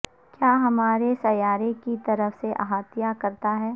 کیا ہمارے سیارے کی طرف سے احاطہ کرتا ہے